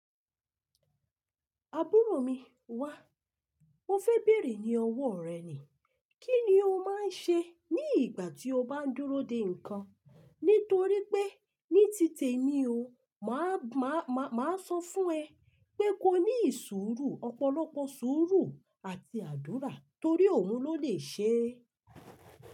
Àbúrò mi, wá. Mo fẹ beere ni ọwọ rẹ ni kí ni o máa ń ṣe ní ìgbà tí o bá ń dúró de ǹkan? Nítorí pé ní tí tèmi o, mà á sọ fún ẹ pé ko ní ìṣuuru, ọ̀pọ̀lọpọ̀ sùúrù àti àdúra torí òun ló lè ṣe.